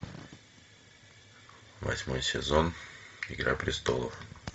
восьмой сезон игра престолов